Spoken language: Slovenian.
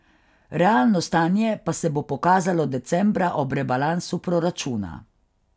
Realno stanje pa se bo pokazalo decembra ob rebalansu proračuna.